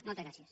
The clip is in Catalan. moltes gràcies